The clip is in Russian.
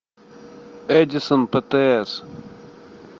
эдисонптс